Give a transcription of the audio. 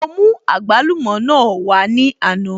Mo mú àgbálùmọ̀ náà wá ní àná